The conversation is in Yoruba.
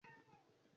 ki lo fe fi se ugba